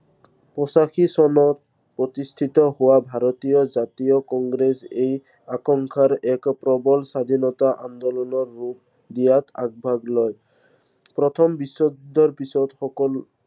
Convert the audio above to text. পঁচাশী চনত, প্ৰতিষ্ঠিত হোৱা ভাৰতীয় জাতীয় কংগ্ৰেছ এই আশংকাৰ এক প্ৰৱল স্বাধীনতাৰ ৰূপ দিয়াত আগভাগ লয়। প্ৰথম বিশ্ব যুদ্ধৰ পিছত সকলো